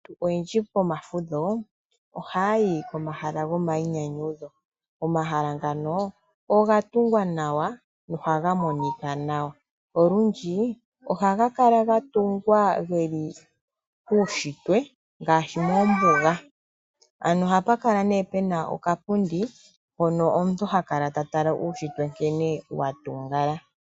Aantu oyendji pomafudho ohayayi pomahala gomayinyanyudho gombuga ohapukala pena okapundi mpono omuntu haya kala ta tala uushitwe nkene wa